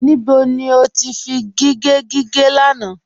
Níbó ni o tì fí gígẹ̀ gígẹ̀ lánà?